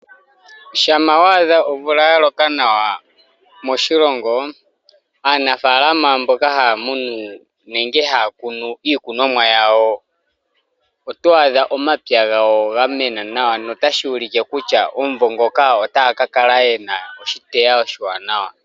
Shampa wadha omvula yaloka nawa moshilongo aanafalama mboka haya munu nenge hakunu iikunomwa yawo otwadha omapya gawo gamena nawa no tashulike kutya omuvo ngoka otaya kakala yena oshiteya oshiwanawa.